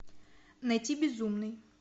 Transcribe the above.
найти безумный